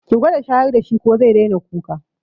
Ki gwada shayar da shi ko zai daina kuka.